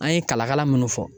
An ye kala kala minnu fɔ.